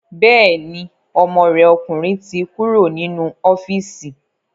Bẹ́ẹ̀ni, ọmọ rẹ̀ ọkùnrin ti kúrò nínú ọ́fíìsì